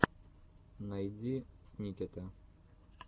найди сникета